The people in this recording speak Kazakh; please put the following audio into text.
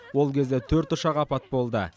ол кезде төрт ұшақ апат болды